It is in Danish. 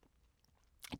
DR K